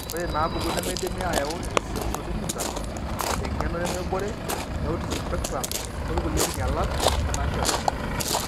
Ore inaapuku nemeidimi aayau esensorimotor, eng'eno nemebore, eautism spectrum, okulie kinyialat oonaashetuni.